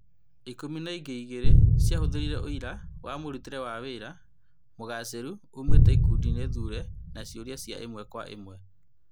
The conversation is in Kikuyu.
Ikũmi na ingĩ igĩrĩ ciahũthĩrire ũira wa mũrutĩre wa wĩra mũgacirũ umĩte ikundi thure na ciũria cia ĩmwe kwa ĩmwe.